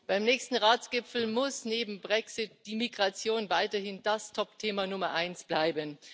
Beim nächsten Ratsgipfel muss neben dem Brexit die Migration weiterhin das Topthema Nummer eins bleiben.